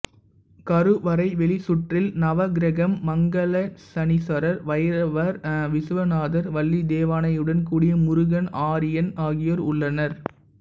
கருவறை வெளிச்சுற்றில் நவக்கிரகம் மங்களசனீஸ்வரர் பைரவர் விசுவநாதர் வள்ளி தெய்வானையுடன் கூடிய முருகன் ஆரியன் ஆகியோர் உள்ளனர்